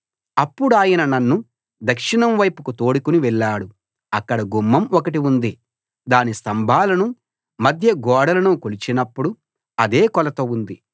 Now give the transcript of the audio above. అప్పుడాయన నన్ను దక్షిణం వైపుకు తోడుకుని వెళ్ళాడు అక్కడ గుమ్మం ఒకటి ఉంది దాని స్తంభాలను మధ్య గోడలను కొలిచినప్పుడు అదే కొలత ఉంది